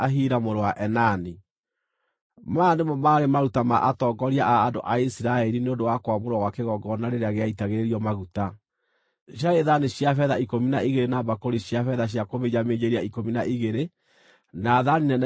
Maya nĩmo maarĩ maruta ma atongoria a andũ a Isiraeli nĩ ũndũ wa kwamũrwo gwa kĩgongona rĩrĩa gĩaitagĩrĩrio maguta: ciarĩ thaani cia betha ikũmi na igĩrĩ na mbakũri cia betha cia kũminjaminjĩria ikũmi na igĩrĩ na thaani nene cia thahabu ikũmi na igĩrĩ.